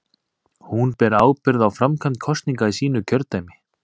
Hún ber ábyrgð á framkvæmd kosninga í sínu kjördæmi.